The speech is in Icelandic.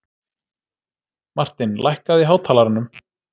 Martin, lækkaðu í hátalaranum.